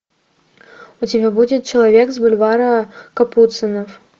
у тебя будет человек с бульвара капуцинов